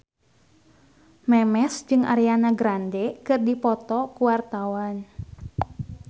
Memes jeung Ariana Grande keur dipoto ku wartawan